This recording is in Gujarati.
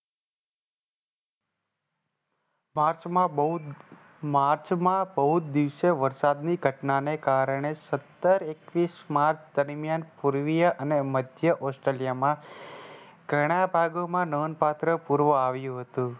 માર્ચમાં બહુ જ માર્ચમાં બહુ જ દિવસે વરસાદની ઘટનાને કારણે સત્તર એકવીસ માર્ચ દરમિયાન પૂર્વીય અને મધ્ય Australia માં ઘણા ભાગોમાં નોન પાત્ર પૂર્વ આવ્યું હતું.